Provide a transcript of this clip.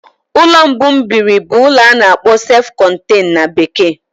Ụlọ mbụ m biri bụ ulo ana akpoo sef contain na bekee.